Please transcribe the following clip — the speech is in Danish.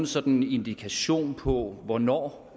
sådan nogen indikation på hvornår